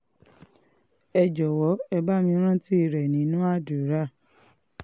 ẹ jọ̀wọ́ ẹ bá mi rántí rẹ̀ nínú àdúrà